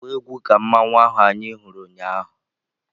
agba egwu ka mmanwu ahụ anyị hụrụ ụnyaahụ!